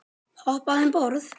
Hoppaðu um borð.